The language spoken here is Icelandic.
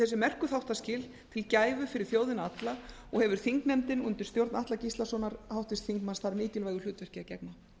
þessi merku þáttaskil sem gæfu fyrir þjóðina alla og hefur þingnefndin undir háttvirtur þingmaður atla gíslasonar þar mikilvægu hlutverki að gegna